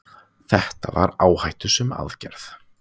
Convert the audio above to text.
þetta var áhættusöm aðgerð